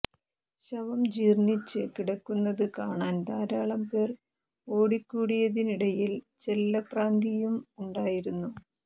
ശവം ജീർണിച്ച് കിടക്കുന്നത് കാണാൻ ധാരാളം പേർ ഓടിക്കൂടിയതിനിടയിൽ ചെല്ലപ്രാന്തിയും ഉണ്ടായിരുന്നു